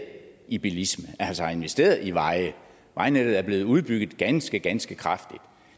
i bilisme altså har investeret i veje vejnettet er blevet udbygget ganske ganske kraftigt og